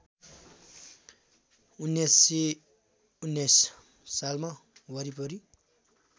१९१९ सालमा वरिपरि